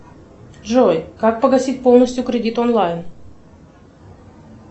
джой как погасить полностью кредит онлайн